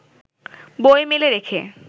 বই মেলে রেখে